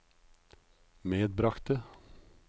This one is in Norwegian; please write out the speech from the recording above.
medbragte